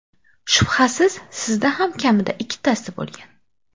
Shubhasiz, sizda ham kamida ikkitasi bo‘lgan.